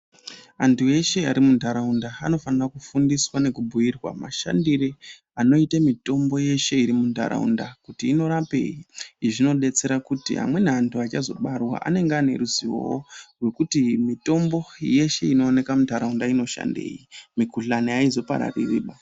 Antu eshe ari mundaraunda anofane kufundiswa nekubhuirwa mashandire anoita mitombo yeshe iri mundaraunda kuti inorapei. Izvi zvinodetsera kuti amweni antu achazobarwa anenge ane ruzivo rwekuti mitombo yeshe inooneka mundaraunda inoshandei, mikhuhlani aizoparariri baa.